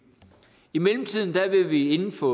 i mellemtiden vil vi inden for